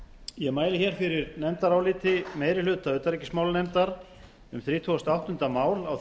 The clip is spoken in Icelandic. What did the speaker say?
ég mæli hér fyrir nefndaráliti meiri hluta utanríkismálanefndar um þrítugasta og áttunda mál á